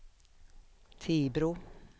Tibro